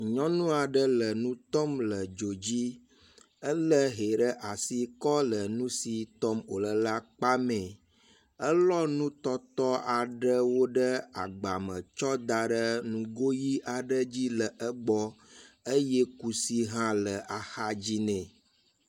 Nyɔnu aɖe le nu tɔm le dzo dzi. Ele hɛ ɖe asi kɔ le nu si tɔm wo le la kpa mee. Elɔ nutɔtɔ aɖewo ɖe agba me tsɔ da ɖe nugo ʋi aɖe dzi le egbɔ eye kusi hã le axa dzi nɛ.